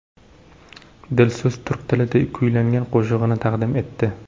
Dilso‘z turk tilida kuylangan qo‘shig‘ini taqdim etdi.